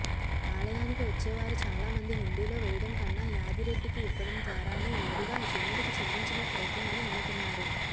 ఆలయానికి వచ్చేవారు చాలా మంది హుండీలో వేయడం కన్నా యాదిరెడ్డికి ఇవ్వడం ద్వారానే నేరుగా దేవుడికి చెల్లించినట్టవుతుందని నమ్ముతున్నారు